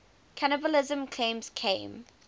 cannibalism claims came